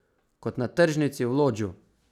Kot na tržnici v Lodžu.